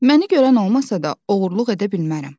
Məni görən olmasa da, oğurluq edə bilmərəm.